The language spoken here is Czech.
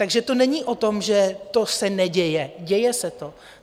Takže to není o tom, že to se neděje, děje se to.